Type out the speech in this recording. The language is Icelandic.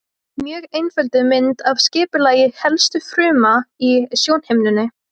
Mjög einfölduð mynd af skipulagi helstu fruma í sjónhimnunni.